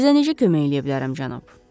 Sizə necə kömək eləyə bilərəm, cənab?